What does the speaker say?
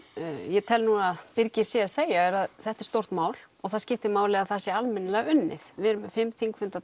ég tel núna að Birgir sé að segja að þetta er stórt mál og það skiptir máli að það sé almennilega unnið við erum með fimm